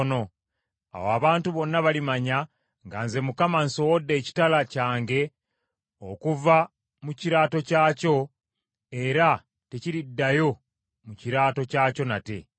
Awo abantu bonna balimanya nga nze Mukama nsowodde ekitala kyange okuva mu kiraato kyakyo, era tekiriddayo mu kiraato kyakyo nate.’